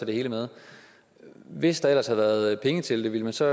det hele med hvis der ellers havde været penge til det ville man så